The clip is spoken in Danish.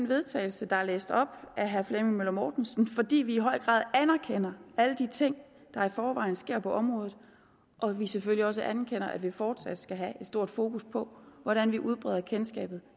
vedtagelse der er læst op af herre flemming møller mortensen fordi vi i høj grad anerkender alle de ting der i forvejen sker på området og selvfølgelig også anerkender at man fortsat skal have et stort fokus på hvordan man udbreder kendskabet